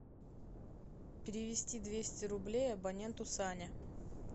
перевести двести рублей абоненту саня